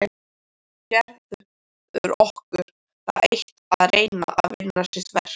Gerður orkar það eitt að reyna að vinna sitt verk.